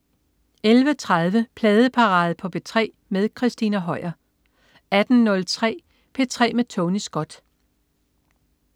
11.30 Pladeparade på P3 med Christina Høier 18.03 P3 med Tony Scott